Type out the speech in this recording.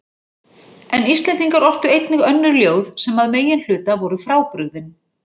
En Íslendingar ortu einnig önnur ljóð sem að meginhluta voru frábrugðin